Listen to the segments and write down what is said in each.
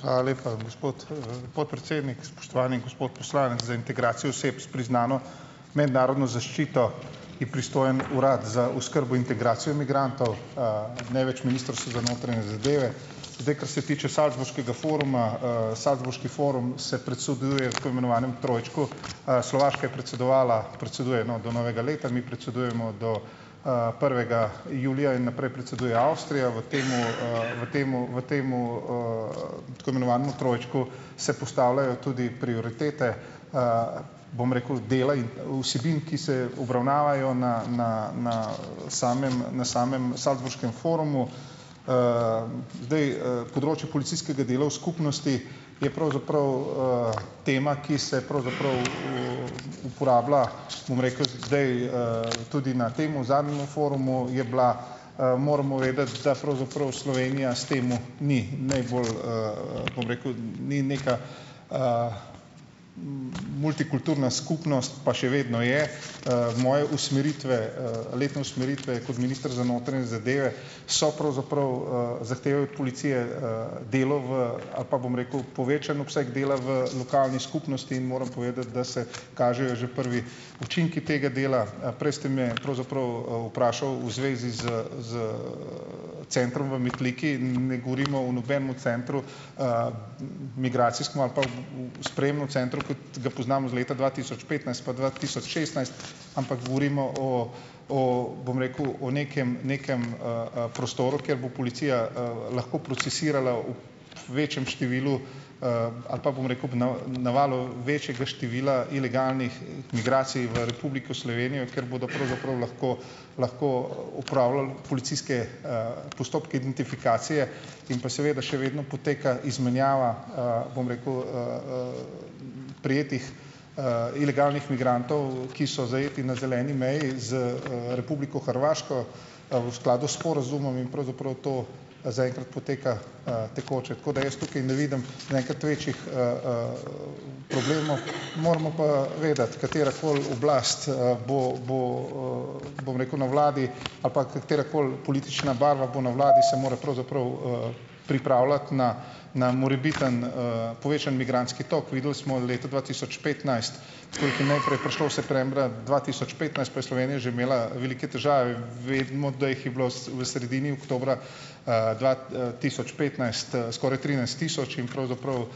Hvala lepa, gospod, podpredsednik. Spoštovani gospod poslanec, za integracijo oseb s priznano mednarodno zaščito je pristojen Urad za oskrbo integracijo migrantov, ne več Ministrstvo za notranje zadeve. Zdaj, kar se tiče Salzburškega foruma, Salzburški forum se predseduje tako imenovanemu trojčku, Slovaška je je predsedovala, predseduje, no, do novega leta, mi predsedujemo do, prvega julija in naprej predseduje Avstrija. V tem, v tem v tem, tako imenovanem trojčku se postavljajo tudi prioritete, bom rekel, dela in vsebin, ki se obravnavajo na na na, samem na samem Salzburškem forumu. Zdaj, področje policijskega dela v skupnosti je pravzaprav, tema, ki se pravzaprav, uporablja, bom rekel, zdaj, tudi na tem zadnjemu forumu je bila. Moramo vedeti, da pravzaprav Slovenija s tem ni najbolj, bom rekel, ni neka, multikulturna skupnost, pa še vedno je. Moje usmeritve, letne usmeritve kot minister za notranje zadeve so pravzaprav ... zahtevajo od policije, delo v ... ali pa bom rekel, povečan obseg dela v lokalni skupnosti in moram povedati, da se kažejo že prvi učinki tega dela. Prej ste me pravzaprav, vprašali v zvezi s s, centrom v Metliki. Ne govorimo o nobenemu centru, migracijskem ali pa o sprejemnem centru, kot ga poznamo iz leta dva tisoč petnajst pa dva tisoč šestnajst, ampak govorimo o o, bom rekel, o nekem nekem, prostoru, kjer bo policija, lahko procesirala v večjem številu, ali pa bom rekel, ob navalu večjega števila ilegalnih, migracij v Republiko Slovenijo, ker bodo pravzaprav lahko lahko opravljali policijske, postopke identifikacije, in pa seveda še vedno poteka izmenjava, bom rekel, prejetih, ilegalnih migrantov, ki so zajeti na zeleni meji z, Republiko Hrvaško, v skladu s sporazumom in pravzaprav to, zaenkrat poteka, tekoče, tako da jaz tukaj ne vidim zaenkrat večjih, problemov. Moramo pa vedeti, katerakoli oblast, bo bo, bom rekel, na vladi ali pa katerakoli politična barva bo na vladi, se mora pravzaprav, pripravljati na na morebiten, povečan migrantski tok. Videli smo leta dva tisoč petnajst, ko jih je naprej prišlo septembra dva tisoč petnajst, pa je Slovenija že imela velike težave. Vemo, da jih je bilo vas v sredini oktobra, dva, tisoč petnajst, skoraj trinajst tisoč in pravzaprav,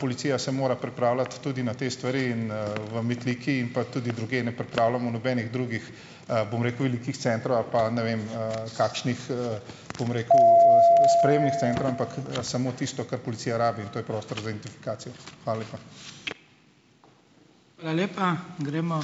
policija se mora pripravljati tudi na te stvari in, v Metliki in pa tudi drugje, ne pripravljamo nobenih drugih, bom rekel, velikih centrov ali pa, ne vem, kakšnih, bom rekel, sprejemnih centrov, ampak, samo tisto, kar policija rabi in to je prostor za identifikacijo. Hvala lepa.